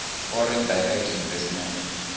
foreign direct investment